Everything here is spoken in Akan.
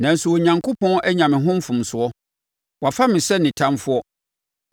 Nanso Onyankopɔn anya me ho mfomsoɔ; wafa me sɛ ne ɔtamfoɔ.